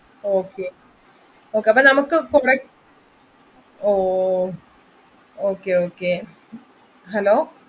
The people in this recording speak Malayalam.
Okay അപ്പൊ നമ്മുക്ക് അഹ് Okay Okay